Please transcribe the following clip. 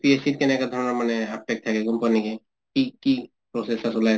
কেনেকা ধৰণৰ মানে technical company , কি কি process